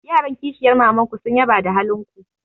Yaran kishiyar maman ku sun yaba da halin ku.